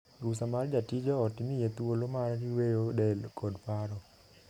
Rusa mar jatij joot miye thuolo mar yueyo del kod paro.